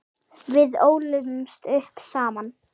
Við ólumst upp saman.